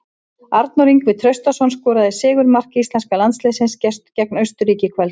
Arnór Ingvi Traustason skoraði sigurmark íslenska landsliðsins gegn Austurríki í kvöld.